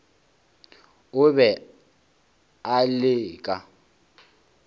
o be o le ka